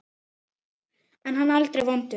En hann er aldrei vondur.